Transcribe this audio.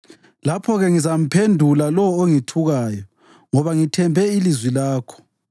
lapho-ke ngizamphendula lowo ongithukayo, ngoba ngithembe ilizwi lakho.